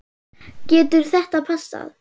Getur þetta passað?